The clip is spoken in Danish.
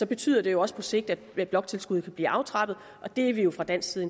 betyder det jo også på sigt at bloktilskuddet vil blive aftrappet og det er vi jo fra dansk side